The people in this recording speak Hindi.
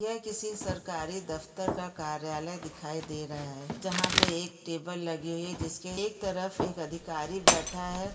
यह किसी सरकारी दफ्तर का कार्यालय दिखाई दे रहा है जहां पे एक टेबल लगी हुई है जिसके का एक तरफ एक अधिकारी बैठा है।